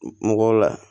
Mɔgɔw la